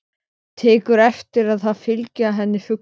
Tekur eftir að það fylgja henni fuglar.